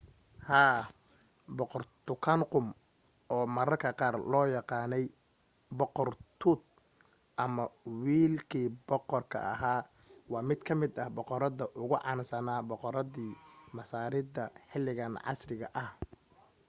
haa! boqor tutankhamun oo mararka qaar loo yaqaanay boqor tut” ama wiilkii boqorka ahaa” waa mid ka mid ah boqorada ugu caansana boqoradii masaarida xilligan casriga ah